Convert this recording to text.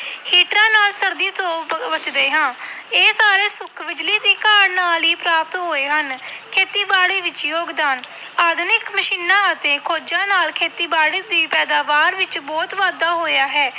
ਹੀਟਰਾਂ ਨਾਲ ਸਰਦੀ ਤੋਂ ਬ ਬਚਦੇ ਹਾਂ ਇਹ ਸਾਰੇ ਸੁੱਖ ਬਿਜ਼ਲੀ ਦੀ ਕਾਢ ਨਾਲ ਹੀ ਪ੍ਰਾਪਤ ਹੋਏ ਹਨ, ਖੇਤੀਬਾੜੀ ਵਿੱਚ ਯੋਗਦਾਨ ਆਧੁਨਿਕ ਮਸ਼ੀਨਾਂ ਅਤੇ ਖੋਜ਼ਾਂ ਨਾਲ ਖੇਤੀਬਾੜੀ ਦੀ ਪੈਦਾਵਾਰ ਵਿੱਚ ਬਹੁਤ ਵਾਧਾ ਹੋਇਆ ਹੈ।